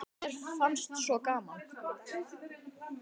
Mér fannst svo gaman.